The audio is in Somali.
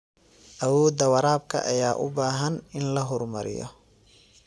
Awoodda waraabka ayaa u baahan in la horumariyo.